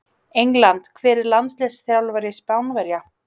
England Hver er landsliðsþjálfari Spánverja?